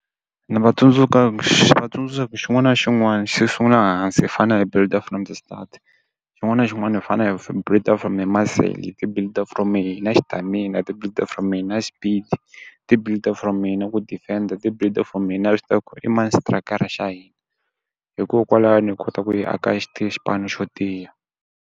Ni va ni va tsundzuxa ku xin'wana na xin'wana xi sungula hansi hi fanele hi build-a from the start. Xin'wana na xin'wana hi fanele hi build-a from the muscle, hi build-a from na stamina, hi build-s from hina speed-i. Hi ti build-a from hi na ku defend-a, hi ti build-a from hi na swi tiva ku i mani xitrayikara xa hina. Hikokwalaho hi kota ku hi aka xipano xo tiya.